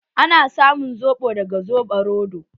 Ana samun soɓo daga soɓo roɗo.